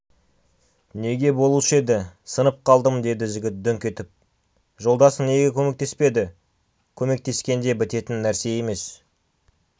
неге болушы еді сынып қалдым деді жігіт дүңк етіп жолдасың неге көмектеспеді көмектескенде бітетін нәрсе емес